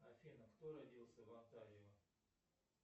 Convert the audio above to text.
афина кто родился в онтарио